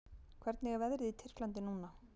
Hvernig er veðrið í Tyrklandi núna?